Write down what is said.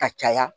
Ka caya